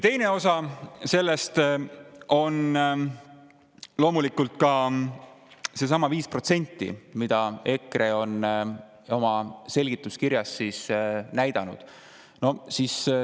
Teine osa on loomulikult seesama 5%, mida EKRE on oma selgituskirjas näidanud.